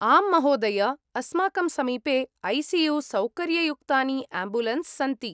आम् महोदय! अस्माकं समीपे ऐ.सि.यु.सौकर्ययुक्तानि आम्बुलेन्स् सन्ति।